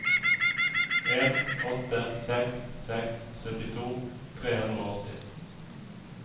en åtte seks seks syttito tre hundre og åtti